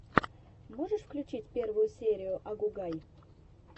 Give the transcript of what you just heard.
можешь включить первую серию агугай